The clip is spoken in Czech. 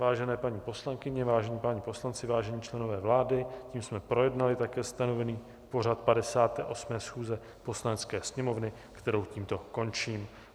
Vážené paní poslankyně, vážení páni poslanci, vážení členové vlády, tím jsme projednali také stanovený pořad 58. schůze Poslanecké sněmovny, kterou tímto končím.